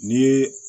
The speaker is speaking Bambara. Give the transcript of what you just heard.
Ni ye